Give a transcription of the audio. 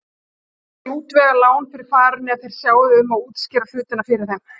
Ég skal útvega lán fyrir farinu ef þér sjáið um að útskýra hlutina fyrir þeim.